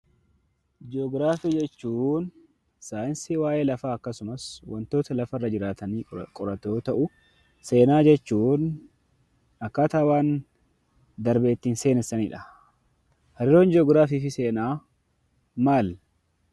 Ji'ogiraafii jechuun saayinsii waa'ee lafaa akkasumas wantoota lafarra jiraatanii qoratu yoo ta'u, seenaa jechuun akkaataa waan darbe ittiin seenessanidha. Hariiroon Ji'ogiraafii fi seenaa maali?